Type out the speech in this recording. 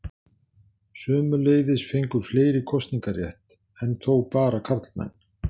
Sömuleiðis fengu fleiri kosningarétt, enn þó bara karlmenn.